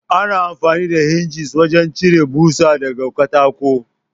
Ana amfani da Hingis wajen cire ɓusa daga katako.